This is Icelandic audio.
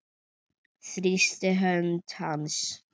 Þrýsti hönd hans.